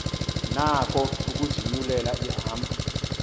nako ukuzinyulela ihambo